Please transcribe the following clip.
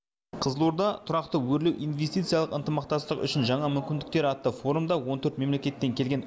қызылорда тұрақты өрлеу инвестициялық ынтымақтастық үшін жаңа мүмкіндіктер атты форумда он төрт мемлекеттен келген